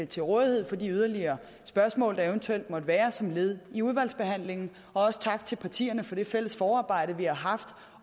til rådighed for de yderligere spørgsmål der eventuelt måtte være som led i udvalgsbehandlingen og også tak til partierne for det fælles forarbejde vi har haft